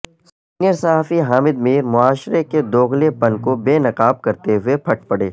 سینئرصحافی حامدمیر معاشرے کے دوغلے پن کوبے نقاب کرتے ہوئےپھٹ پڑے